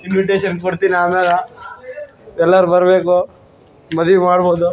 invitation ಕೊಡ್ತೀನಿ ಆಮೆಲ ಎಲ್ಲಾರ್ ಬರ್ಬೆಕು ಮದ್ವಿ ಮಾಡ್ಬೊದು